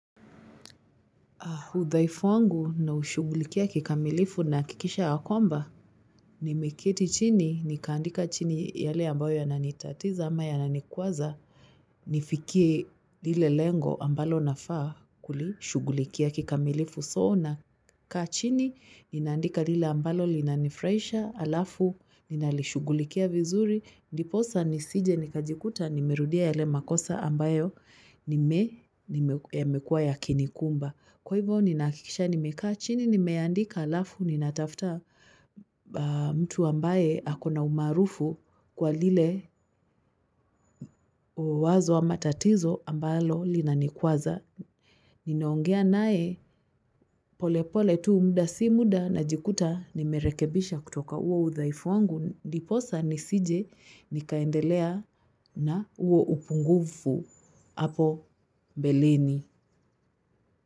Udhaifu wangu naushugulikia kikamilifu nahakikisha ya kwamba, nimeketi chini, nikaandika chini yale ambayo yananitatiza ama yananikwaza, nifikie lile lengo ambalo nafaa kulishughulikia kikamilifu so nakaa chini ninaandika lile ambalo linanifurahisha halafu ninalishughulikia vizuri ndiposa nisije nikajikuta, nimerudia yale makosa ambayo nime, yamekuwa yakinikumba. Kwa hivyo ninakikisha nimekaa chini nimeandika halafu ninatafuta mtu ambaye ako na umaarufu kwa lile wazo ama tatizo ambalo linanikwaza. Ninaongea naye pole pole tu muda si muda najikuta nimerekibisha kutoka huo udhaifu wangu. Ndiposa nisije nikaendelea na huo upungufu hapo mbeleni.